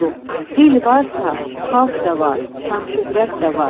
Dil varsa, xalq da var, şan-şöhrət də var.